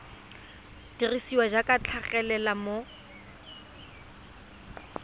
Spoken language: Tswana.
dirisiwa jaaka di tlhagelela mo